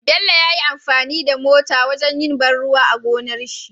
Bello yayi amfani da mota wajan yin ban ruwa a gonarshi